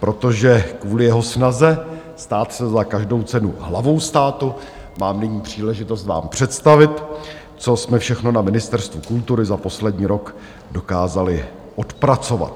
protože kvůli jeho snaze stát se za každou cenu hlavou státu mám nyní příležitost vám představit, co jsme všechno na Ministerstvu kultury za poslední rok dokázali odpracovat.